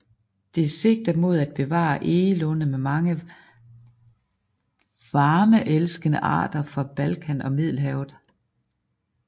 Det sigter mod at bevare egelunde med mange varmeelskende arter fra Balkan og Middelhavet